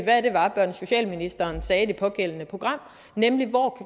hvad og socialministeren sagde i det pågældende program nemlig